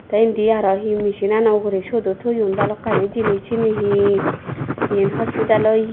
tey endi aro he mesinano uguree suotdo toyon balukani jenis siyani he he eyen hospital ye.